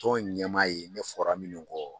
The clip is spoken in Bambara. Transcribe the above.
Tɔn ɲɛmaa ye ne fɔra minnu kɔ